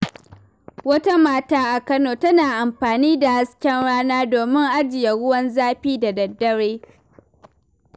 Wata mata a Kano tana amfani da hasken rana domin ajiye ruwan zafi da dare.